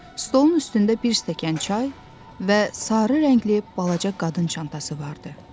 Stolun üstündə bir stəkan çay və sarı rəngli balaca qadın çantası vardı.